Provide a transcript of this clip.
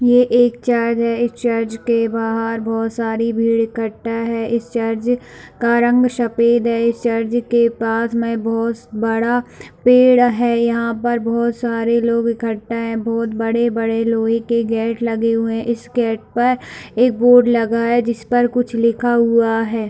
ए एक चर्च है इस चर्च के बाहर बहुत सारी भीड़ इकट्ठा है इस चर्च का रंग सफ़ेद है इस चर्च के पास में बहुत बड़ा पेड़ है यहाँ पे बहुत सारे लोग इकट्ठा है बहुत बड़े-बड़े लोहे के गेट लगे हुए है इस गेट पर एक बोर्ड लगा हुआ है जिस पर कुछ लिखा हुआ है।